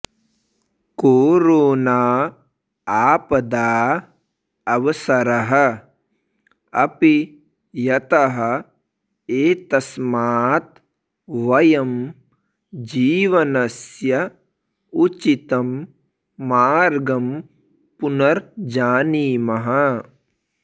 corona आपदा अवसरः अपि यतः एतस्मात् वयं जीवनस्य उचितं मार्गं पुनर्जानीमः